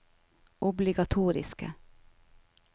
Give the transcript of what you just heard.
obligatoriske